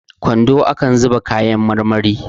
kwando akan zuba kayan marmari